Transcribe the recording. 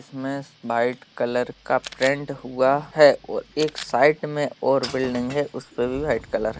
इसमें white colour का paint हुआ है और एक साइड में और बिल्डिंग है उसपे भी व्हाइट कलर --